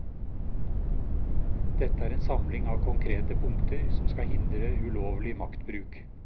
Dette er en samling av konkrete punkter som skal hindre ulovlig maktbruk.